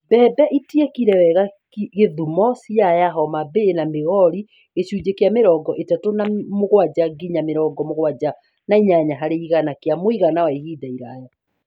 Mbembe itiekire wega Kisumu, Siaya, Homa Bay na Migori (gĩcunjĩ kĩa mĩrongo ĩtatũ na mũgwanja nginya mĩrongo mũgwanja na inyanya harĩ igana kĩa mũigana wa ihinda iraya)